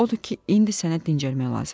Odur ki, indi sənə dincəlmək lazımdır.